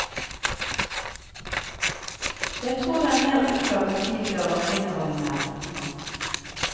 Jeg tror det er mer uklart enn tidligere hva kvinnerollen er. punktum